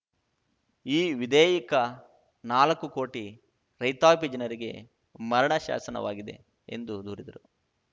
ಈ ವಿಧೇಯಕ ನಾಲಕ್ಕು ಕೋಟಿ ರೈತಾಪಿ ಜನರಿಗೆ ಮರಣ ಶಾಸನವಾಗಿದೆ ಎಂದು ದೂರಿದರು